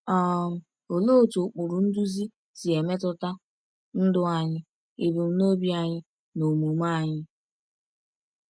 um Olee otú ụkpụrụ nduzi si emetụta ndụ anyị, ebumnobi anyị, na omume anyị?